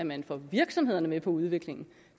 man får virksomhederne med på udviklingen